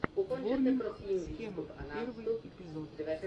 ворнинг схемов первый эпизод